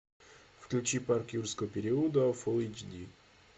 включи парк юрского периода фул эйч ди